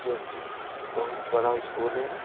जो कि बहुत बड़ा स्कूल है।